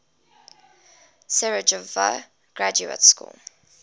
sarajevo graduate school